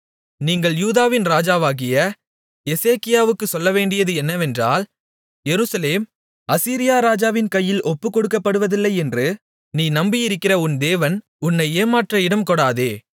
நீங்கள் யூதாவின் ராஜாவாகிய எசேக்கியாவுக்குச் சொல்லவேண்டியது என்னவென்றால் எருசலேம் அசீரியா ராஜாவின் கையில் ஒப்புக்கொடுக்கப்படுவதில்லையென்று நீ நம்பியிருக்கிற உன் தேவன் உன்னை ஏமாற்ற இடம்கொடாதே